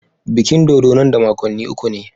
Bikin dodo nan da makonni uku ne.